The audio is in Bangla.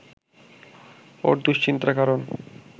ওর দুশ্চিন্তার কারণ